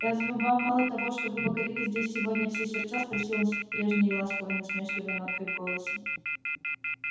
разве вам мало того что вы покорили здесь сегодня все сердца спросил он с прежней ласково-насмешливой ноткой в голосе